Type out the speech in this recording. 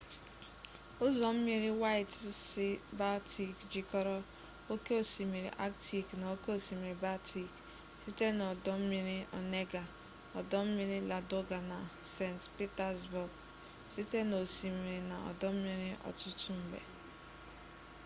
ụzọ mmiri waịt sii-baltik jikọrọ oke osimiri aktik na oke osimiri baltik site n'ọdọmmiri onega ọdọmmiri ladoga na saint petersbourg site n'osimiri na ọdọmmiri ọtụtụ mgbe